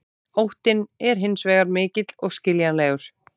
Óttinn er hins vegar mikill og skiljanlegur.